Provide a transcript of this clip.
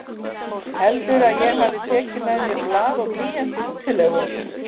Heldurðu að ég hafi tekið með mér blað og blýant í útilegu?